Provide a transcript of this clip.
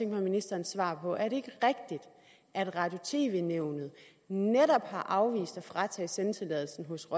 mig ministerens svar på at at radio og tv nævnet netop har afvist at fratage sendetilladelsen hos